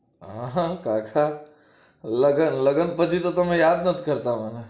આહ કાકા લગન લગન પછી તો તમે યાદ નથી કરતા મને